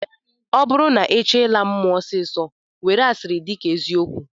Ọ bụrụ na ị chọọ ịla mmụọ ọsịịsọ, were asịrị dịka eziokwu